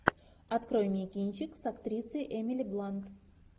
открой мне кинчик с актрисой эмили блант